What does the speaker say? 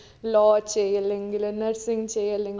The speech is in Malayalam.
law ചെയ്യല്ലെങ്കിൽ nursing ചെയ്യല്ലെങ്കിൽ